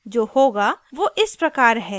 जो होगा वो इस प्रकार है